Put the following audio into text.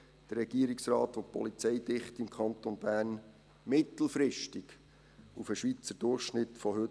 Der Regierungsrat will die Polizeidichte im Kanton Bern mittelfristig auf den heutigen Schweizer Durchschnitt heben.